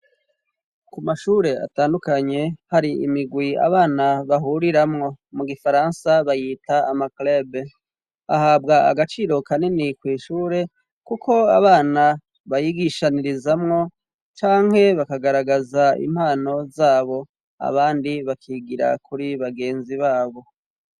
Ku mashure atandukanye hari imigwi abana bahuriramwo, mu gifaransa bayita ama club ,ahabwa agaciro kanini kw' ishure, kuko abana bayigishanirizamwo canke bakagaragaza impano zabo, abandi bakigira kuri bagenzi babo.